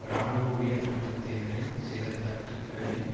இராணுவ உயர் மட்டத்தினரின் சில தட்டுக்களின்